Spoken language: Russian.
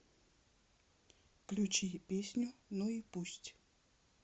включи песню ну и пусть